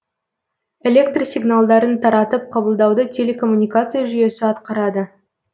электр сигналдарын таратып қабылдауды телекоммуникация жүйесі атқарады